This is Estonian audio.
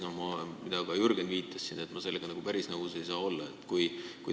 Nagu ka Jürgen siin viitas, sellega päris nõus olla ei saa.